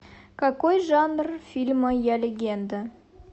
какой жанр фильма я легенда